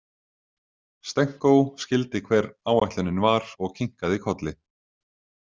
Stenko skyldi hver áætlunin var og kinkaði kolli.